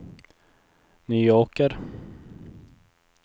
Nyåker